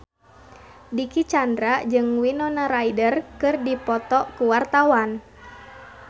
Dicky Chandra jeung Winona Ryder keur dipoto ku wartawan